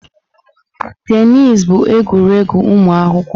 Tenis bụ egwuregwu ụmụ akwụkwọ.